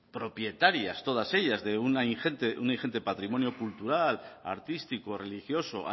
pues propietarias todas ellas de un ingente patrimonio cultural artístico religioso